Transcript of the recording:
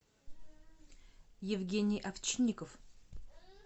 евгений овчинников